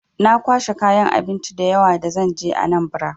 Na kwashi kayan abinci da yawa da zan je Anambra.